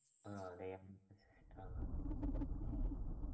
ആഹ് ദയം ആഹ്